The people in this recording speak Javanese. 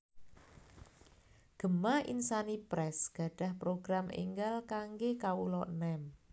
Gema Insani Press gadhah program enggal kangge kawula enem